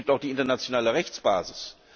Und es gibt auch die internationale Rechtsbasis.